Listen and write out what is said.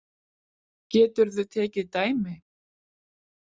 Geturðu tekið dæmi?